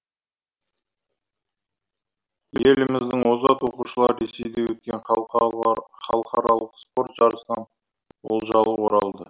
еліміздің озат оқушылары ресейде өткен халықаралық спорт жарысынан олжалы оралды